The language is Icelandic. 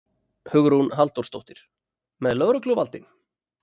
Hugrún Halldórsdóttir: Með lögregluvaldi?